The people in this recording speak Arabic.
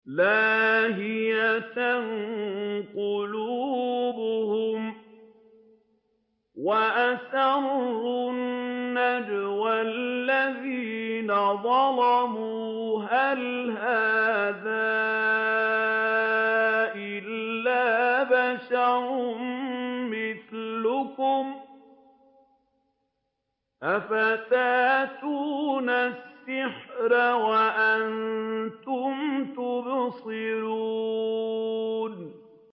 لَاهِيَةً قُلُوبُهُمْ ۗ وَأَسَرُّوا النَّجْوَى الَّذِينَ ظَلَمُوا هَلْ هَٰذَا إِلَّا بَشَرٌ مِّثْلُكُمْ ۖ أَفَتَأْتُونَ السِّحْرَ وَأَنتُمْ تُبْصِرُونَ